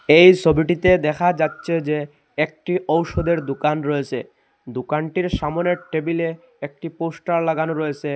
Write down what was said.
এই সবিটিতে দেখা যাচ্চে যে একটি ঔষধের দুকান রয়েসে দুকানটির সামোনের টেবিলে একটি পোস্টার লাগানো রয়েসে ।